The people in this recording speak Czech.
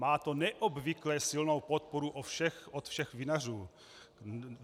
Má to neobvykle silou podporu od všech vinařů.